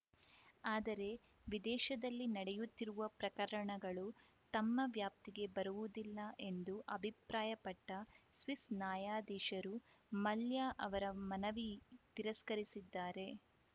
ಆದರೆ ವಿದೇಶದಲ್ಲಿ ನಡೆಯುತ್ತಿರುವ ಪ್ರಕರಣಗಳು ತಮ್ಮ ವ್ಯಾಪ್ತಿಗೆ ಬರುವುದಿಲ್ಲ ಎಂದು ಅಭಿಪ್ರಾಯಪಟ್ಟ ಸ್ವಿಸ್‌ ನ್ಯಾಯಾಧೀಶರು ಮಲ್ಯ ಅವರ ಮನವಿ ತಿರಸ್ಕರಿಸಿದ್ದಾರೆ